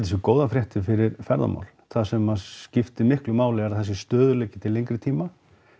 séu góðar fréttir fyrir ferðamál það sem að skiptir miklu máli er að það sé stöðugleiki til lengri tíma